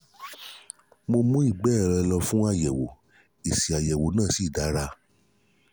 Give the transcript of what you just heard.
mo mú ìgbé rẹ̀ lọ fún àyẹ̀wò èsì àyẹ̀wò náà sì dára